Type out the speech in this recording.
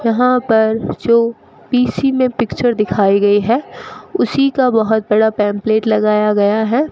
यहां पर जो पी_सी में पिक्चर दिखाई गई है उसी का बहुत बड़ा पैंफलेट लगाया गया है।